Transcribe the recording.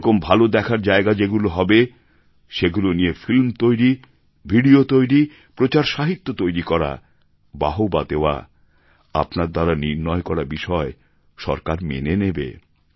এরকম ভালো দেখার জায়গা যেগুলো হবে সেগুলো নিয়ে ফিল্ম তৈরি ভিডিও তৈরি প্রচার সাহিত্য তৈরি করা বাহবা দেওয়া আপনার দ্বারা নির্ণয় করা বিষয় সরকার মেনে নেবে